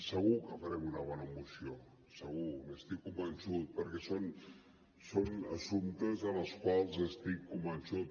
segur que farem una bona moció segur n’estic convençut perquè són assumptes en els quals estic convençut